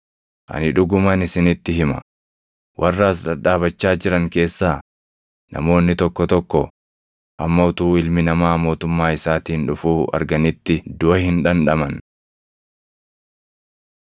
“Ani dhuguman isinitti hima; warra as dhadhaabachaa jiran keessaa namoonni tokko tokko hamma utuu Ilmi Namaa mootummaa isaatiin dhufuu arganitti duʼa hin dhandhaman.”